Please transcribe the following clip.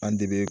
An de be